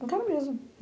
Não quero mesmo.